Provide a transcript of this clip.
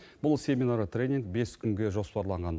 бұл семинар тренинг бес күнге жоспарланған